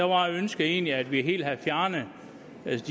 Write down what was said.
var ønsket egentlig at vi helt havde fjernet